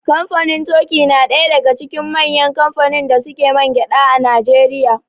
Kamfanin toki na ɗaya daga cikin manyan kamfanin da suke mangyaɗa a Najeriya.